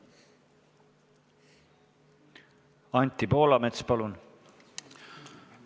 Anti Poolamets, palun!